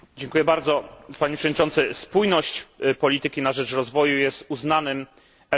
Spójność polityki na rzecz rozwoju jest uznanym elementem polityki światowej.